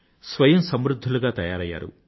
స్వయం సమృధ్ధులుగా తయారయ్యారు